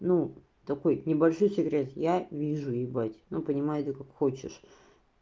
ну такой небольшой секрет я вижу ебать но понимай это как хочешь